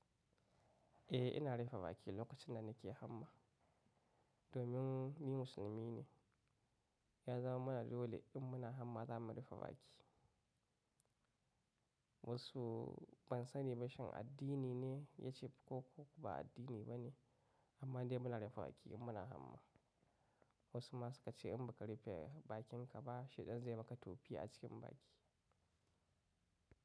Eh, ina rufe baki lokacin da nake hamma domin ni musulmi ne. Ya zama mana dole in muna hamma za mu rufe baki. Wasu ban sani ba shin addini ne ya ce ko kuma ba addini ba ne amma dai muna rufe baki in muna hamma. Wasu ma suka ce in ba ka rufe bakinka ba shaidan zai maka tofi a cikin baki.